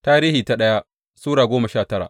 daya Tarihi Sura goma sha tara